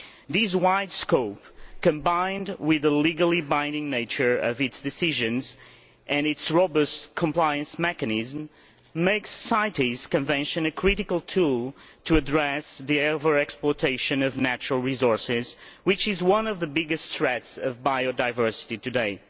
This wide scope, combined with the legally binding nature of its decisions and its robust compliance mechanism, makes the CITES Convention a critical tool to address the overexploitation of natural resources, which is one of the biggest threats to biodiversity today.